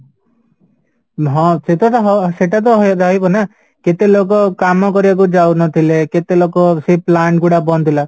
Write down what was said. ହଁ ସେଟା ତ ହଁ ସେଟା ତ ରହିବ ନା କେତେ ଲୋକ କାମ କରିବାକୁ ଯାଉନଥିଲେ କେତେ ଲୋକ ସେଇ plant ଗୁଡା ବନ୍ଦ ଥିଲା